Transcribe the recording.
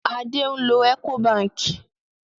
Adé ń lo Ecobank.